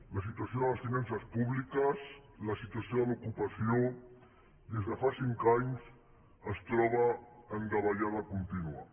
la situació de les finances públiques la situació de l’ocupació des de fa cinc anys es troben en davallada contínua